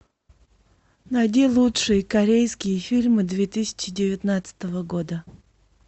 найди лучшие корейские фильмы две тысячи девятнадцатого года